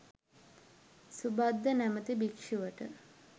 සුභද්ද නමැති භික්‍ෂුවට